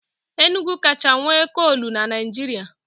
Enugu kacha nwe kolu n'Naijiria